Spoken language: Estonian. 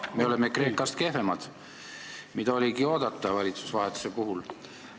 Me oleme Kreekast kehvemad, mida oligi oodata valitsusvahetuse puhul.